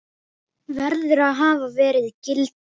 verður að hafa verið gildur.